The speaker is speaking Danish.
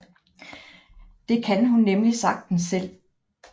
Det kan hun nemlig sagtens selv